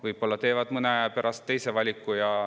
Võib-olla teevad nad mõne aja pärast teise valiku.